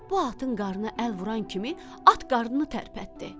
Bu atın qarnına əl vuran kimi, at qarnını tərpətdi.